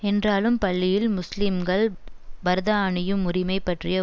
என்றாலும் பள்ளியில் முஸ்லீம்கள் பரதா அணியும் உரிமை பற்றிய